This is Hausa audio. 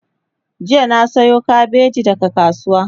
jiya na Sayo kabeji daga kasuwa